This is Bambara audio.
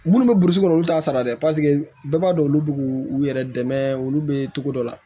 Munnu bɛ burusi kɔnɔ olu t'a sara dɛ paseke bɛɛ b'a dɔn olu b'u u yɛrɛ dɛmɛ olu bɛ togo dɔ la